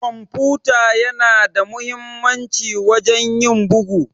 kwamfuta yana da muhimmanci wajen ƴin buga.